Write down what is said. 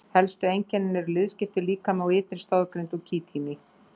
Helstu einkenni eru liðskiptur líkami og ytri stoðgrind úr kítíni.